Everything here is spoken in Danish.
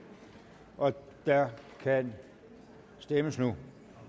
og der kan stemmes nu